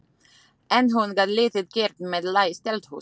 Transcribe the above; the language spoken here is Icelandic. En hún gat lítið gert með læst eldhús.